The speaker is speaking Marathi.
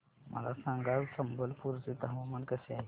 मला सांगा आज संबलपुर चे हवामान कसे आहे